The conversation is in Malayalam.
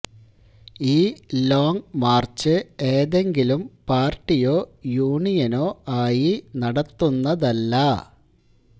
ഈ ലോംഗ് മാര്ച്ച് ഏതെങ്കിലും പാര്ട്ടിയോ യൂണിയനോ ആയി നടത്തുന്നതല്ല